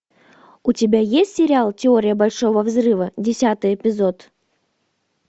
у тебя есть сериал теория большого взрыва десятый эпизод